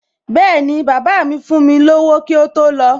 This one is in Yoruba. Bẹ́ẹ̀ni, bàbá míì fún mi lówó kí ó tó lọ